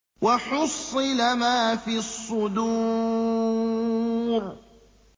وَحُصِّلَ مَا فِي الصُّدُورِ